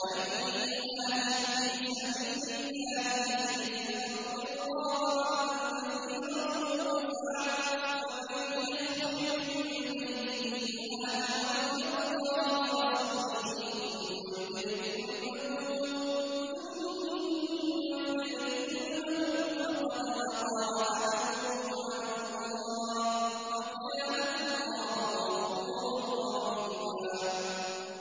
۞ وَمَن يُهَاجِرْ فِي سَبِيلِ اللَّهِ يَجِدْ فِي الْأَرْضِ مُرَاغَمًا كَثِيرًا وَسَعَةً ۚ وَمَن يَخْرُجْ مِن بَيْتِهِ مُهَاجِرًا إِلَى اللَّهِ وَرَسُولِهِ ثُمَّ يُدْرِكْهُ الْمَوْتُ فَقَدْ وَقَعَ أَجْرُهُ عَلَى اللَّهِ ۗ وَكَانَ اللَّهُ غَفُورًا رَّحِيمًا